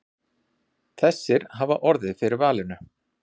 Þessir hafi orðið fyrir valinu.